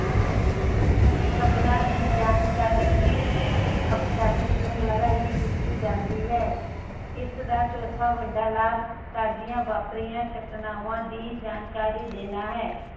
ਤੇ ਖ਼ਬਰਾਂ ਦੀ ਜਾਣਕਾਰੀ ਵੀ ਟੇਲੀਵਿਜਨ ਰਾਹੀ ਹੀ ਦਿਤੀ ਜਾਂਦੀ ਹੈ। ਇਸਦਾ ਚੋਥਾ ਵੱਡਾ ਲਾਭ ਤਾਜਾ ਵਾਪਰਿਆ ਘਟਨਾਵਾਂ ਦੀ ਜਾਣਕਾਰੀ ਦੇਣਾ ਹੈ।